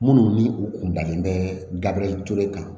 Minnu ni u kun dalen bɛ gabure kan